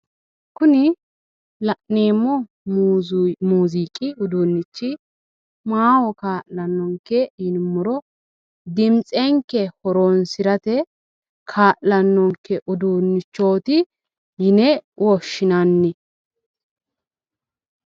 Kuni la'neemohu muuziiqi uduunnichi maaho kaa'lanonke yinumoro dimitsenke horoonsirate kaa'lanonke uduunichooti yine woshshinanni